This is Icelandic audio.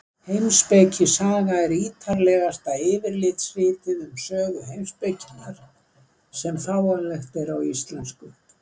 Heimspekisaga er ítarlegasta yfirlitsritið um sögu heimspekinnar sem fáanlegt er á íslensku.